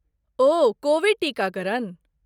ओह, Covid टीकाकरण?